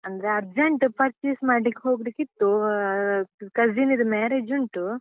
ಅಂದ್ರೆ urgent purchase ಮಾಡ್ಲಿಕ್ ಹೋಗ್ಲಿಕಿತ್ತು ಅಹ್ cousin ನಿದ್ದು marriage ಉಂಟು.